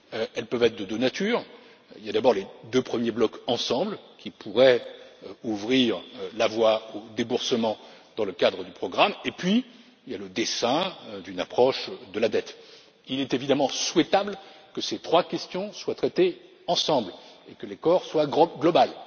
Elles peuvent être de deux natures il y a, d'abord, les deux premiers blocs ensemble qui pourraient ouvrir la voie au déboursement dans le cadre du programme et, puis, le dessein d'une approche de la dette. Il est évidemment souhaitable que ces trois questions soient traitées ensemble et que l'accord soit global.